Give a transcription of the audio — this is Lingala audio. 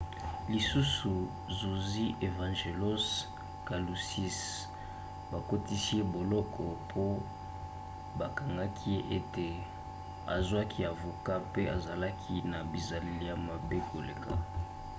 lisusu zuzi evangelos kalousis bakotisi ye boloko po bakangaki ye ete azwaki avoka mpe azalaki na bizaleli ya mabe koleka